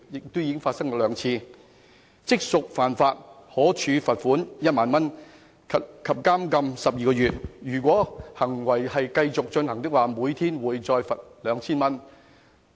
這情況已發生過兩次，可處罰款1萬元及監禁12個月；如果行為持續，另加每天罰款 2,000 元。